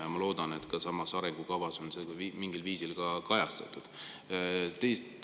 Ja ma loodan, et ka selles arengukavas on see mingil viisil kajastatud.